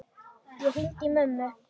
Ég hringdi í mömmu.